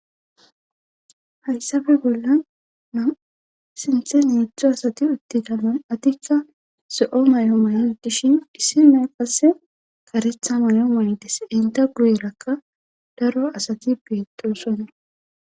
hayssafe bolla na sinthe neetztzu asati uttigamoy atikka so7o may7o may7n dishin dhissi me qasse karetha may7o maydes inta guyerakka daro asati beettosonna